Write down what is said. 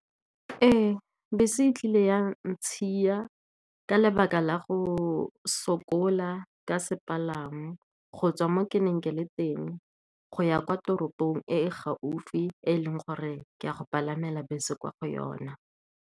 Ee, bese e tlile yang, ntshiya ka lebaka la go sokola ka sepalangwa go tswa mo ke neng ke le teng go ya kwa toropong e e gaufi, e leng gore ke a go palama bese kwa go yona.